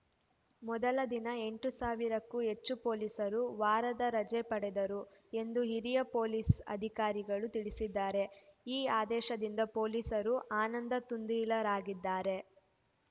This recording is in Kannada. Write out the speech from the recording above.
ಮೊದಲ ದಿನ ಎಂಟು ಸಾವಿರಕ್ಕೂ ಹೆಚ್ಚು ಪೊಲೀಸರು ವಾರದ ರಜೆ ಪಡೆದರು ಎಂದು ಹಿರಿಯ ಪೊಲೀಸ್‌ ಅಧಿಕಾರಿಗಳು ತಿಳಿಸಿದ್ದಾರೆ ಈ ಆದೇಶದಿಂದ ಪೊಲೀಸರು ಆನಂದತುಂದಿಲರಾಗಿದ್ದಾರೆ